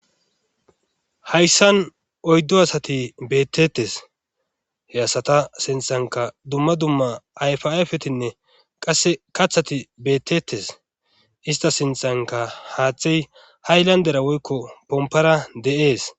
hayssan oyddo asati bettetes he asata sinthanka dumma dumma ayfafetinne qasse kathati beettetes ista sinthanka haaththey haylandera woykko pompara de7ees